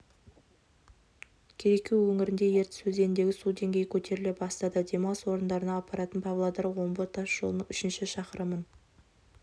кереку өңірінде ертіс өзеніндегі су деңгейі көтеріле бастады демалыс орындарына апаратын павлодар-омбы тас жолының үшінші шақырымын